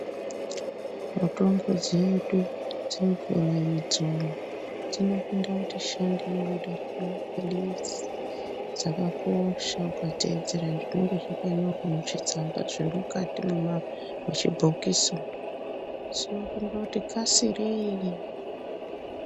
Mitombo dzedu dzemvura idzo dzinopinda kuti shandei kudarika mapilizi dzakakosha ukateedzere zvinenge zvakanyorwa muchitsamba zviri mukati mwema muchibhokisi umo, dzinopinda kuti kasirei.